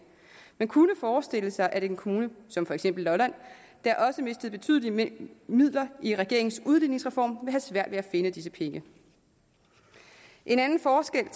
man kunne forestille sig at en kommune som for eksempel lolland der også mistede betydelige midler i regeringens udligningsreform vil have svært ved at finde disse penge en anden forskel i